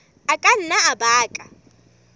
a ka nna a baka